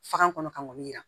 Faga kɔnɔ kan k'o min yira